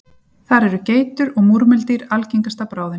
þar eru geitur og múrmeldýr algengasta bráðin